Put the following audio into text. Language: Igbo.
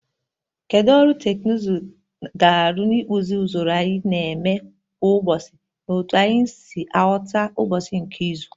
Kedu ọrụ teknụzụ ga-arụ n'ịkpụzi usoro anyị na-eme kwa ụbọchị na otu anyị si aghọta ụbọchị nke izu?